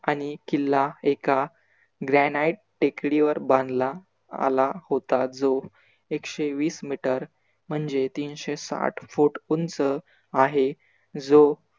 आणि किल्ला एका granite टेकडीवर बांधला आला होता जो. एकशे वीस METER म्हणजे तीनशे साठ FEET उंच आहे जो